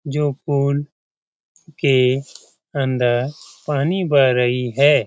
जो पुल के अंदर पानी बह रही है।